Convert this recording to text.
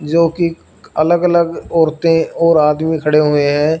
जो कि अलग अलग औरतें और आदमी खड़े हुए हैं।